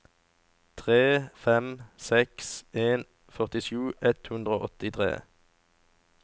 tre fem seks en førtisju ett hundre og åttitre